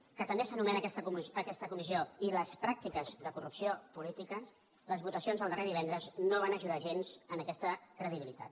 que també s’anome na aquesta comissió i les pràctiques de corrupció política les votacions del darrer divendres no van ajudar gens a aquesta credibilitat